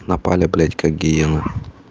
наполи блять как гиены